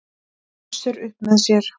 Össur upp með sér.